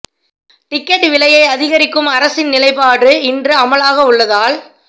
ticket விலையை அதிகரிக்கும் அரசின் நிலைப்பாடு இன்று முதல் அமுலாக உள்ளதால்